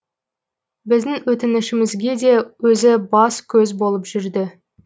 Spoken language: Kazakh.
біздің өтінішімізге де өзі бас көз болып жүрді